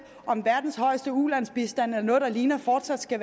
om verdens højeste ulandsbistand eller noget der ligner fortsat skal